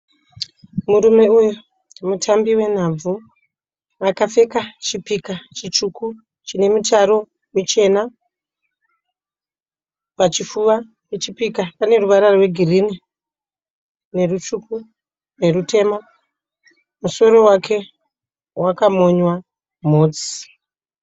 Murume uyu mutambi wenhabvu akapfeka chipika chitsvuku chine mitaro michena pachifuva pechipika pane ruvara rwegirini nerutsvuku nerutema musoro wake wakamonywa mhotsi.